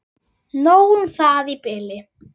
Nóg um það í bili.